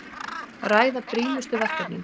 Ræða brýnustu verkefnin